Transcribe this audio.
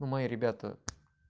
но мои ребята